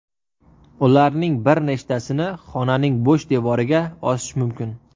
Ularning bir nechtasini xonaning bo‘sh devoriga osish mumkin.